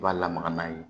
I b'a lamaga n'a ye